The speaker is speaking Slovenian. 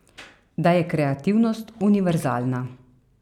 Da je kreativnost univerzalna.